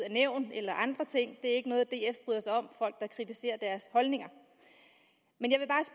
af nævn eller andre ting ikke at folk kritiserer deres holdninger